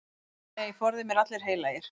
Nei, forði mér allir heilagir.